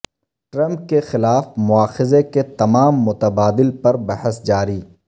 Trump کے خلاف مواخذہ کے تمام متبادل پر بحث جاری